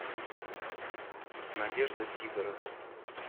надежда сидорова